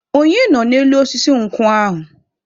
Onye nọ n'elu osisi nkwụ ahụ?